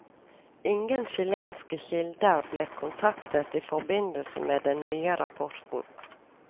Ingen chilenske kilder ble kontaktet i forbindelse med den nye rapporten.